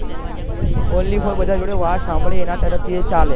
onlyfor બધા જોડે વાત સાંભળી એ ના તરફ થી એ ચાલે